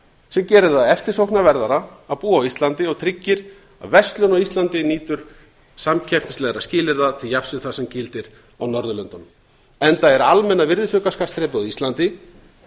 sem gerir það eftirsóknarverðara að búa á íslandi og tryggir að verslun á íslandi nýtur samkeppnislegra skilyrða til jafns við það sem gildir á norðurlöndunum enda er almenna virðisaukaskattsþrepið á íslandi